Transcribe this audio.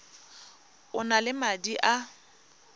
o na le madi a